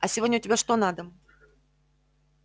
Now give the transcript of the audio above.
а сегодня у тебя что на дом